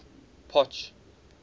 potch